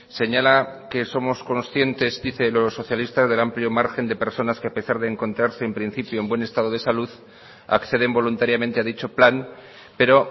señala que somos conscientes dice los socialistas del amplio margen de personas que a pesar de encontrarse en principio en buen estado de salud acceden voluntariamente a dicho plan pero